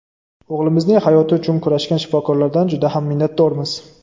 O‘g‘limizning hayoti uchun kurashgan shifokorlardan juda ham minnatdormiz.